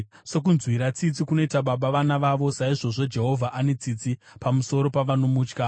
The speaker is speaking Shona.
Sokunzwira tsitsi kunoita baba vana vavo, saizvozvo Jehovha ane tsitsi pamusoro pavanomutya;